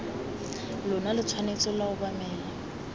lona lo tshwanetse lwa obamela